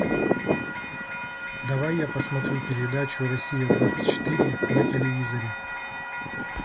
давай я посмотрю передачу россия двадцать четыре на телевизоре